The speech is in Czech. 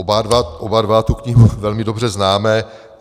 Oba dva tu knihu velmi dobře známe.